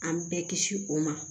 An bɛɛ kisi o ma